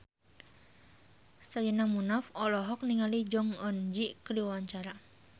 Sherina Munaf olohok ningali Jong Eun Ji keur diwawancara